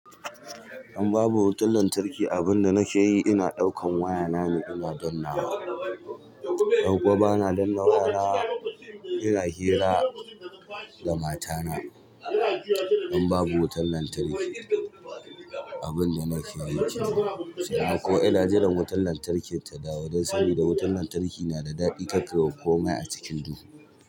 In babu wutar lantarki, abin da nake yi ina ɗaukan wayanane ina danna wa. Ko ba na danna waya na ina hira da matana. In babu wutar lantarki, abin da nake yi shine ko ina jiran wutar lantarki ta dawo dan saboda wutar lantarki na da daɗi kar ka wa komai a cikin duhu.